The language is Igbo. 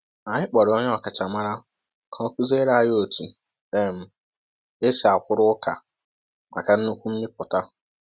Anyị kpọrọ onye ọkachamara ka o kụziere anyị otu um esi akwụrụ ụka maka nnukwu mmịpụta.